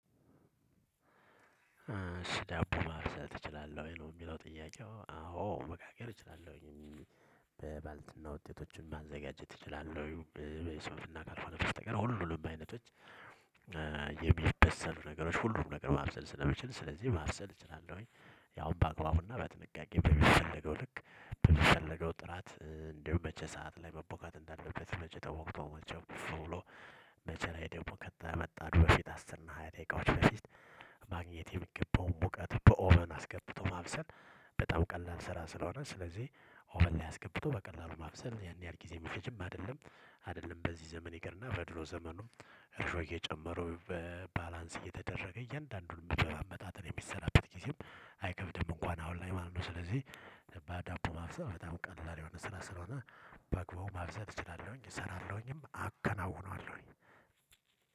ዳቦ ማብሰል ትችላለህ? ወይ ነው የሚለው ጥያቄው? አዎ መጋገር እችላለሁኝ። በባልትና ውጤቶች እና ማዘጋጀት ትችላለህ? ወይ የሶፍት ካልሆነ በስተቀር ሁሉንም አይነቶች። የሚበሰሉ ነገሮች ሁሉም ነገር ማብሰል ስለምችል ስለዚህ ማብሰል እችላለሁኝ። ያው በአግባቡና በጥንቃቄ በሚፈለገው ልክ። በሚፈለገው ጥራት እንዲሁ መቼ ሰዓት ላይ መቦካት እንዳለበት መቼ ተቦክተው መቼ እፍ ብሎ። መቼ ላይ ዳቦ ከተመጣ በፊት አስር እና ሃያ ደቂቃዎች በፊት። የሚገባውን ሙቀት በኦቨን አስገብቶ ማብሰል። በጣም ቀላል ስራ ስለሆነ ስለዚህ። ኦቨን አስገብቶ በቀላሉ ማብሰል ያን ያህል ጊዜ ሚፈጅም አይደለም። አይደለም በዚህ ዘመን ይቅርና በድሮ ዘመን ወቅት። እርሾ እየጨመሩ በባላንስ እየተደረገ እያንዳንዱን የሚበላ በመጣጠን የሚሰራበት ጊዜም። አይከብድም እንኳን አሁን ላይ ማለት ነው ስለዚህ። በዳቦ ማብሰል በጣም ቀላል የሆነ ስራ ስለሆነ። በዳቦ ማብሰል እችላለሁኝ እሰራለሁኝም አከናውናለሁኝ።